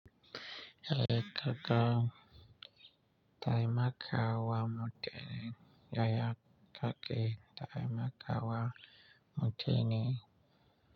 Eh kaka taimakawa mutane, yaya ka ke taimakawa mutane?